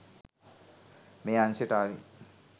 මේ අංශයට ආවේ?